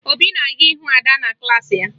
Obi na-aga ịhụ Ada na klaasị ya